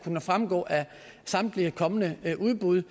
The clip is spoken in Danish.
fremgå af samtlige kommende udbud